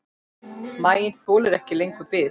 Maginn þolir ekki lengur bið.